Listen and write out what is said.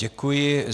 Děkuji.